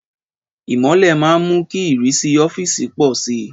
Ìmọ́lẹ̀ máa ń mú kí ìrísí ọ́fíìsì pọ̀ sí i.